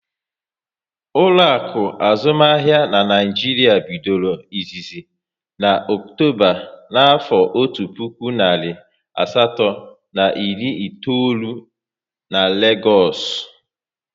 Ụlọakụ azụmahịa n'Naijiria bidoro izizi na Ọktoba na afo ọtu puku narị asatọ na iri itoolu n'Legoosu